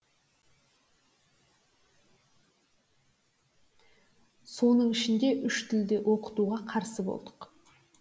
соның ішінде үш тілде оқытуға қарсы болдық